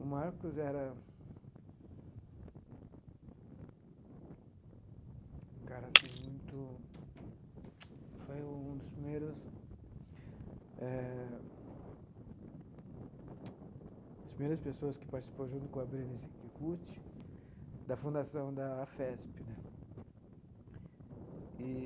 O Marcos era um cara assim muito... Foi um dos primeiros... Eh as primeiras pessoas que participaram, junto com a Berenice Kikuchi, da fundação da AFPESP né eee.